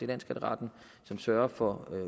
landsskatteretten som sørger for